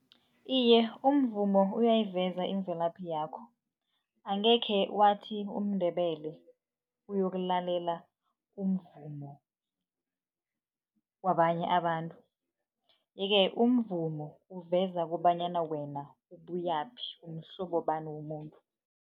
Iye, umvumo uyayiveza imvelaphi yakho. Angekhe wathi umNdebelele uyokulalela umvumo wabanye abantu. Yeke umvumo uveza kobanyana wena ubuyaphi mhlobobani womuntu.